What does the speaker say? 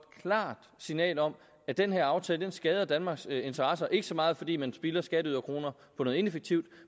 klart signal om at den her aftale skader danmarks interesser ikke så meget fordi man spilder skatteyderkroner på noget ineffektivt